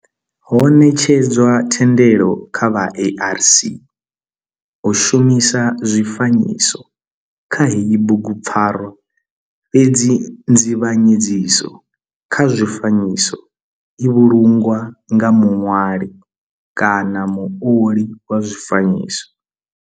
Ho netshedzwa thendelo kha vha ARC u shumisa zwifanyiso kha heyi bugupfarwa fhedzi nzivhanyedziso kha zwifanyiso i vhulungwa nga muṋwali kana muoli wa zwifanyiso.